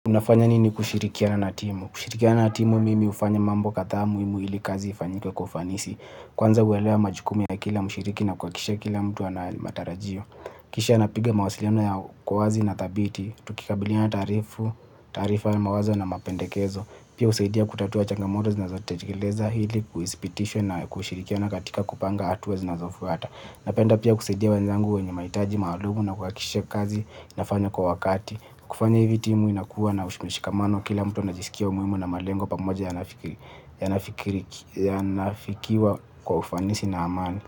Unafanya nini kushirikiana na timu? Kushirikiana na timu mimi hufanya mambo kadhaa muhimu ili kazi ifanyike ufanisi. Kwanza huelewa majukumi ya kila mshiriki na kuhakikisha kila mtu ana matarajio. Kisha napiga mawasiliano kwa uwazi na thabiti. Tukikabiliana tarifu taarifa ya mawazo na mapendekezo. Pia husaidia kutatua changamoto zinazojitokeza ili kuidhibitisha na kushirikiana katika kupanga hatua zinazofuata. Napenda pia kusaidia wanzangu wenye mahitaji maalumu na kuhakikisha kazi inafanywa kwa wakati. Kufanya hivi timu inakuwa na ushikamano, kila mtu anajisikia muhimu, na malengo pamoja yanaafikiwa yanafikiwa kwa ufanisi na amali.